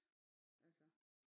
Altså